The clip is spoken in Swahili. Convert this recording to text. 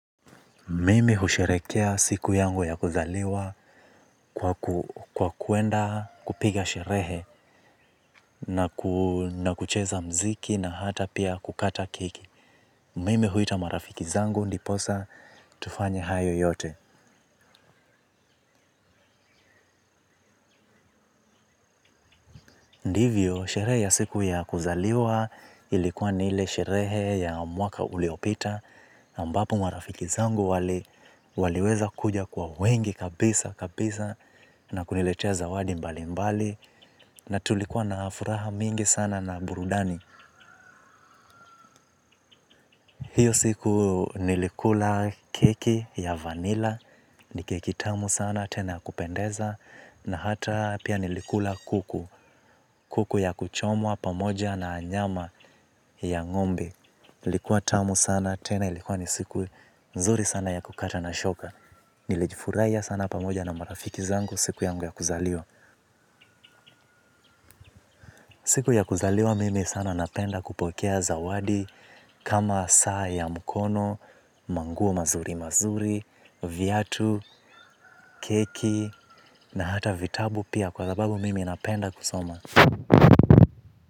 Mimi husherekea siku yangu ya kuzaliwa kwa kuenda kupiga sherehe na kucheza mziki na hata pia kukata keki. Mimi huita marafiki zangu ndiposa tufanye hayo yote. Ndivyo, sherehe ya siku ya kuzaliwa ilikuwa ni ile sherehe ya mwaka uliopita. Ambapo marafiki zangu waliweza kuja kwa wengi kabisa kabisa na kuniletea zawadi mbali mbali. Na tulikuwa na furaha mingi sana na burudani. Hiyo siku nilikula keki ya vanila. Ni keki tamu sana tena ya kupendeza. Na hata pia nilikula kuku. Kuku ya kuchomwa pamoja na nyama ya ngombe ilikuwa tamu sana tena ilikuwa ni siku nzuri sana ya kukata na shoka. Nilijifurahia sana pamoja na marafiki zangu siku yangu ya kuzaliwa. Siku ya kuzaliwa mimi sana napenda kupokea zawadi kama saa ya mkono, ama nguo mazuri mazuri, viatu, keki na hata vitabu pia kwa sababu mimi napenda kusoma.